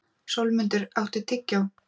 Sólmundur, áttu tyggjó?